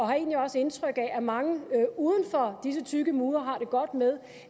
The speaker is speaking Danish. har egentlig også indtryk af at mange uden for disse tykke mure har det godt med